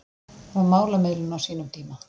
Það var málamiðlun á sínum tíma